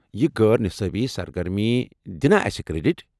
یم غٲر نصابی سرگرمی دِنا اسہِ کریڈٹ ؟